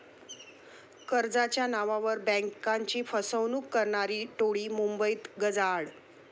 कर्जाच्या नावावर बँकाची फसवणूक करणारी टोळी मुंबईत गजाआड